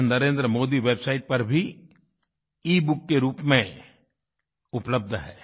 यह नरेंद्रमोदी वेबसाइट पर भी ईबुक के रूप में उपलब्ध है